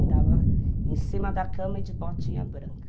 Andava em cima da cama e de botinha branca.